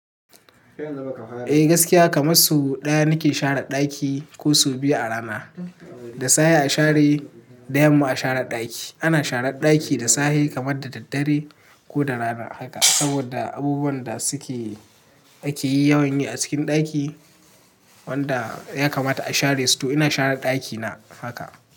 Eh gaskiya kamar so ɗaya nake share ɗaki ko so biyu a rana. Da safe a share, da yamma a share ɗaki. Ana sharar ɗaki da safe kamar da daddare ko da rana haka saboda abubuwan da suke ake yi yawon yi a cikin ɗaki wanda ya kamata a share su to ina share ɗakina haka.